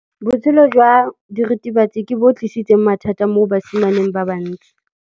Botshelo jwa diritibatsi ke bo tlisitse mathata mo basimaneng ba bantsi.